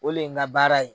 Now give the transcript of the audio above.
O le ye n ka baara ye